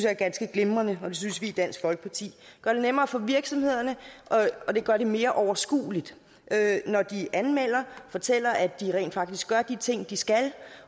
er ganske glimrende og det synes i dansk folkeparti gør det nemmere for virksomhederne og det gør det mere overskueligt at når de anmelder fortæller at de rent faktisk gør de ting de skal